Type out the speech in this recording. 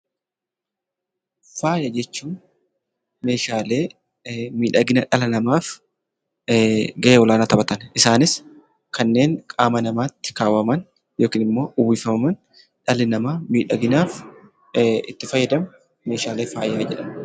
Faaya jechuun meeshaalee miidhagina dhala namaaf gahee olaanaa taphatan. Isaanis kanneen qaama namaatti kaawwaman yookiin immoo uwwifaman dhalli namaa miidhaginaaf itti fayyadamu meeshaalee faayaa jedhamu.